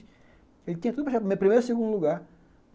Ele tinha tudo para chegar de primeiro e segundo lugar.